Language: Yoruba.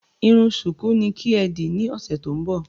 Irun ṣùkú ni kí ẹ dì ní ọ̀sẹ̀ tó ń bọ̀!